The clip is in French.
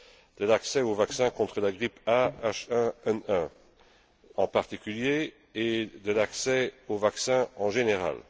de l'accès au vaccin contre la grippe A en particulier et de l'accès au vaccin en général.